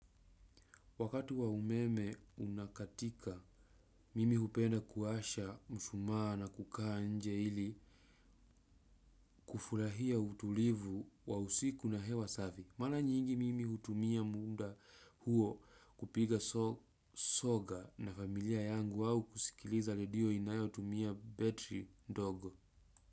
Wakati wa umeme unakatika, mimi hupenda kuasha mshumaa na kukaa nje ili kufurahia utulivu wa usiku na hewa safi. Mara nyingi mimi hutumia munda huo kupiga soga na familia yangu wao kusikiliza re dio inayo tumia betri ndogo.